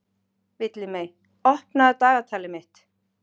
Villimey, opnaðu dagatalið mitt.